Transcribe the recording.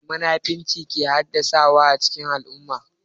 Me munafurci yake haddasawa a cikin al'umma?